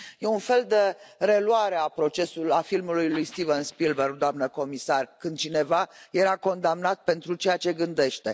E un fel de reluare a filmului lui Steven Spielberg, doamnă comisar, când cineva era condamnat pentru ceea ce gândește.